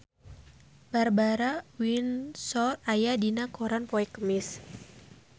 Barbara Windsor aya dina koran poe Kemis